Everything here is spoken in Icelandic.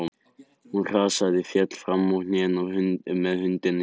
Hún hrasaði og féll fram á hnén með hundinn í fanginu.